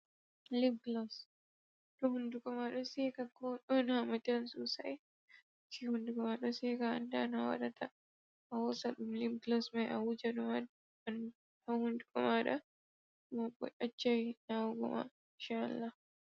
Liblos, to hunnduko ma ɗo seeka, ko ɗon hamatan soosay, gey hunnduko ma ɗon seeka a annda no a waɗata, a hoosa ɗum libblos may a wuja dum haa hunnduko maaɗa, hunnduko ma b ɗaccay naawugo ma inca-Allah.